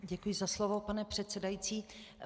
Děkuji za slovo, pane předsedající.